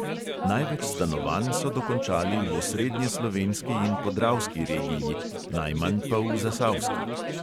Največ stanovanj so dokončali v osrednjeslovenski in podravski regiji, najmanj pa v zasavski.